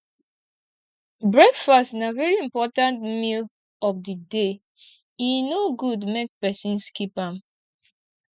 breakfast na very important meal of di day e no good make persin skip am